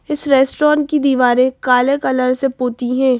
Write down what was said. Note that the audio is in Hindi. इस रेस्टोरेंट की दीवारें काले कलर से पोती हैं।